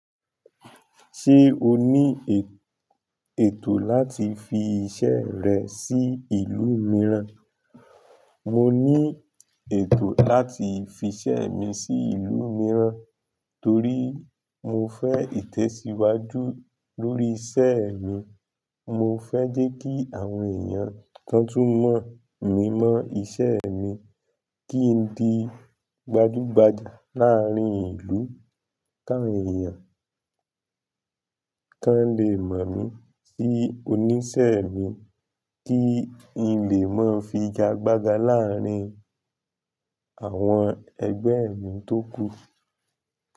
Ṣé o ní ètò láti fi iṣẹ́ rẹ sí ìlú mìíràn? Mo ní ètò láti fi iṣẹ́ mi sí ìlú mìíràn, torí mo fẹ́ ìtẹ̀síwájú lórí iṣẹ́ mi. Mo fẹ́ jẹ́ kí àwọn èèyàn kan tún mọ̀ mí mọ́ iṣẹ́ mi, kí n di gbajúgbajà láàárín ìlú kan, èèyàn kan lè mọ̀ mí sí oníṣẹ́ mi, kí n lè máa figagbága láàárín àwọn ẹgbẹ́ mi tó kù.